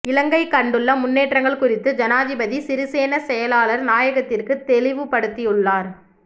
இலங்கை கண்டுள்ள முன்னேற்றங்கள் குறித்து ஜனாதிபதி சிறிசேன செயலாளர் நாயகத்திற்கு தெளிவுபடுத்தியுள்ளார்